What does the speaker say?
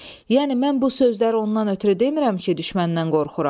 Yəni mən bu sözləri ondan ötrü demirəm ki, düşməndən qorxuram.